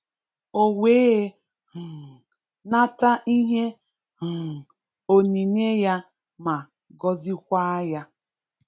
O wee um nata ihe um onyínyè ya, ma gọzìkwa ya.